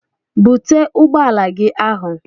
Bute ụgbọala gị ahụ!